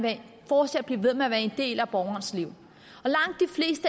fortsat blive ved med at være en del af borgerens liv